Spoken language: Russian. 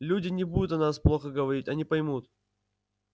люди не будут о нас плохо говорить они поймут